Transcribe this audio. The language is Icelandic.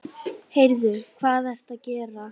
Heyrðu. hvað ertu að gera?